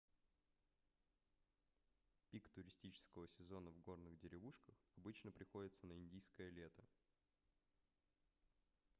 пик туристического сезона в горных деревушках обычно приходится на индийское лето